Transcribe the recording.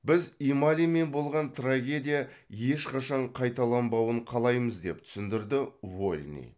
біз ималимен болған трагедия ешқашан қайталанбауын қалаймыз деп түсіндірді вольный